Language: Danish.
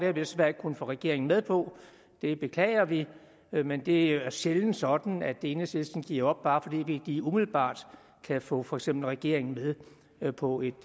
jo desværre ikke kunnet få regeringen med på det beklager vi vi men det er sjældent sådan at enhedslisten giver op bare fordi vi lige umiddelbart kan få for eksempel regeringen med på et